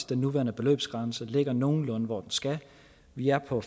den nuværende beløbsgrænse ligger nogenlunde hvor den skal vi er på